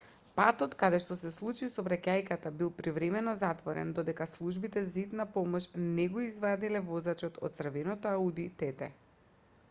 патот каде што се случи сообраќајката бил привремено затворен додека службите за итна помош не го извадиле возачот од црвеното ауди тт